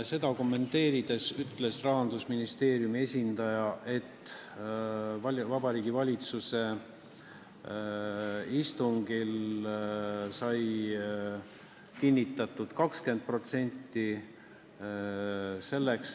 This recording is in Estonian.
Seda kommenteerides ütles Rahandusministeeriumi esindaja, et Vabariigi Valitsuse istungil sai kinnitatud 20%.